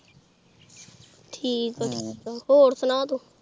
ਠੀਕ ਏ ਠੀਕ ਏ ਹੋਰ ਸੁਣਾ ਤੂੰ।